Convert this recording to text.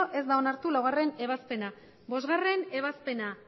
hogei ez da onartu laugarrena ebazpena bostgarrena ebazpena